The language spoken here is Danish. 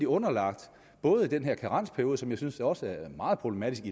underlagt den her karensperiode som jeg synes også er meget problematisk